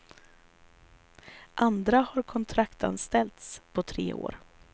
Andra har kontraktsanställts på tre år.